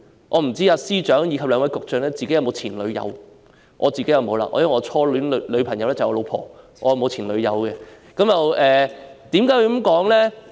我不知司長及兩位局長有否前度女友，我是沒有的，因為我的初戀女友就是我的太太。